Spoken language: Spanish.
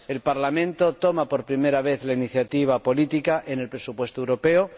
El Parlamento toma por primera vez la iniciativa política en el presupuesto europeo